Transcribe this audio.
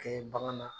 Kɛ bagan na